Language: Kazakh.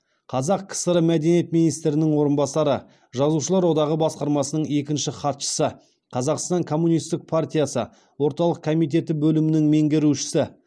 қазақ кср мәдениет министрінің орынбасары жазушылар одағы басқармасының екінші хатшысы қазақстан коммунистік партиясы орталық комитеті бөлімінің меңгерушісі